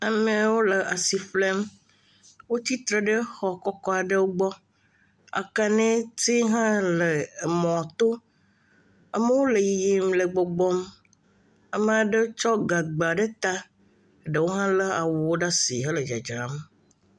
amɛawo le asiƒlem.wó tite ɖe xɔ kɔkɔ aɖe gbɔ akani ti hã le mɔto amowo le yiyim le gbɔgbɔm amaɖe tsɔ gagba ɖe ta amaɖewo ha le awuwo ɖasi le dzadram